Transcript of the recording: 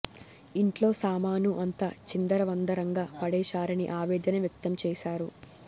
ఇంట్లో సామాను అంతా చిందర వందరంగా పడేశారని ఆవేదన వ్యక్తం చేశారు